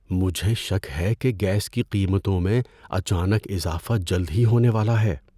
مجھے شک ہے کہ گیس کی قیمتوں میں اچانک اضافہ جلد ہی ہونے والا ہے۔